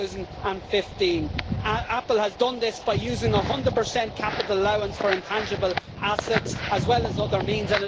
2015. Apple has done this by using a 100 capital allowance for intangible assets, as well as other means.